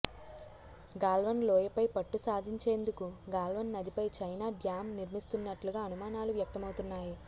గాల్వన్ లోయ పై పట్టు సాధించేందుకు గాల్వన్ నదిపై చైనా డ్యామ్ నిర్మిస్తున్నట్లుగా అనుమానాలు వ్యక్తమవుతున్నాయి